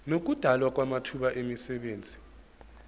nokudalwa kwamathuba emisebenzi